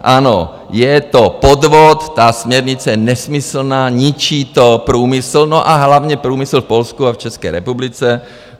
Ano, je to podvod, ta směrnice je nesmyslná, ničí to průmysl, no a hlavně průmysl v Polsku a v České republice.